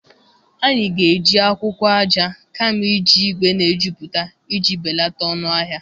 Anyị ga-eji akwụkwọ aja kama iji igwe na-ejuputa iji belata ọnụ ahịa.